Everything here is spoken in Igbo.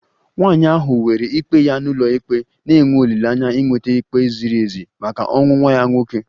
Nwanyị ahụ weere ikpe ya n'ụlọikpe na-enwe olileanya inweta ikpe ziri ezi maka ọnwụ nwa ya nwoke